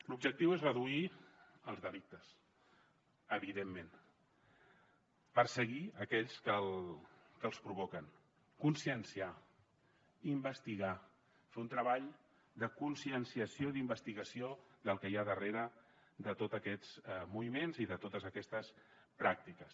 l’objectiu és reduir els delictes evidentment perseguir aquells que els provoquen conscienciar investigar fer un treball de conscienciació i d’investigació del que hi ha darrere de tot aquests moviments i de totes aquestes pràctiques